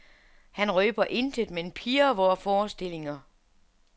Han røber intet, men pirrer vore forestillinger.